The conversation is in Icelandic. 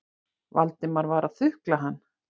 Valdimar var að þukla hann.